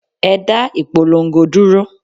Ẹ dá ìpolongo dúró!